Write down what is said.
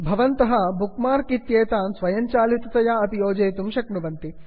भवन्तः bookmark इत्येतान् स्वयञ्चालिततया अपि योजयितुं शक्नुवन्ति